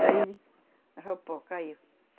o pó caiu.